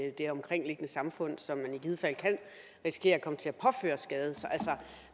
i det omkringliggende samfund som man i givet fald kan risikere at komme til at påføre skade